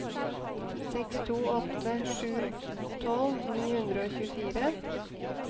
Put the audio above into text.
seks to åtte sju tolv ni hundre og tjuefire